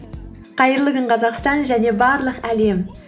қайырлы күн қазақстан және барлық әлем